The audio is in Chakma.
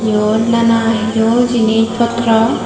yot nana hiju jinis potro.